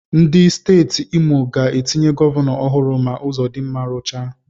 Ndị Steeti Imo ga-etinye gọvanọ ọhụrụ ma Ụzọdinma ruchaa.